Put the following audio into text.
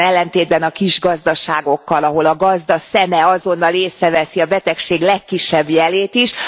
Ellentétben a kis gazdaságokkal, ahol a gazda szeme azonnal észreveszi a betegség legkisebb jelét is.